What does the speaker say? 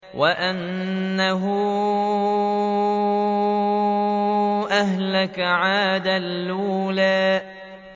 وَأَنَّهُ أَهْلَكَ عَادًا الْأُولَىٰ